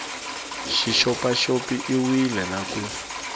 xi xopaxop iwile na ku